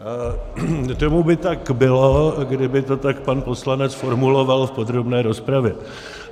Tomu by tak bylo, kdyby to tak pan poslanec formuloval v podrobné rozpravě.